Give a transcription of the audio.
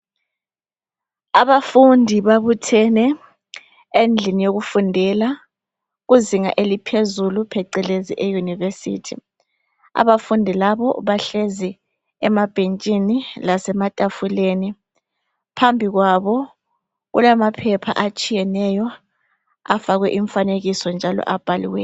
Abafundi babuthene endlini yokufundela kuzinga eliphezulu phecelezi eyunivesithi abafundi labo bahlezi emabhentshini lasematafuleni phambi kwabo kulamaphepha atshiyeneyo afake imfanekiso njalo abhaliweyo.